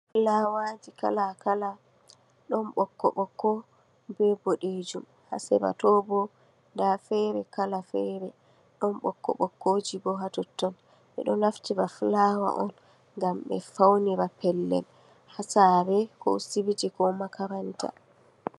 Fulawaji kala kala, ɗon ɓokko ɓokko be boɗeejum, ha sera to bo nda fere kala fere, ɗon ɓokko ɓokko ji bo ha totton. Ɓe ɗo naftira be fulawa ngam ɓe faunira pellel ha saare ko sibiti ko makaranta.